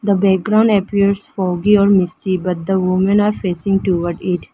The background appears foggy or misty but the women are facing toward it.